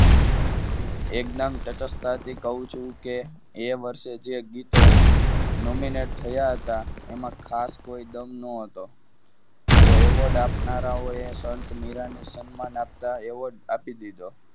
એકદમ તટસ્થતાથી કહું છું કે એ વર્ષે જે ગીતો nominate થયા હતા. એમાં ખાસ કોઈ દમ ન હતો તો award આપનારાઓએ સંત મીરાંને સન્માન આપતા award આપી દીધો.